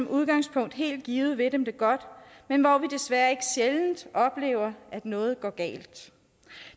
udgangspunktet helt givet vil dem det godt men hvor vi desværre ikke sjældent oplever at noget går galt